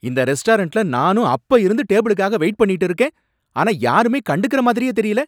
இந்த ரெஸ்டாரண்ட்ல நானும் அப்பா இருந்து டேபிளுக்காக வெயிட் பண்ணிக்கிட்டு இருக்கேன், ஆனா யாருமே கண்டுக்கற மாதிரியே தெரியல.